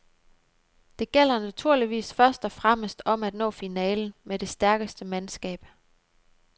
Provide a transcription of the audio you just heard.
Det gælder naturligvis først og fremmest om at nå finalen med det stærkeste mandskab.